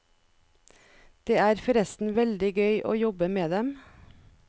Det er forresten veldig gøy å jobbe med dem.